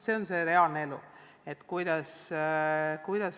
See on reaalne elu.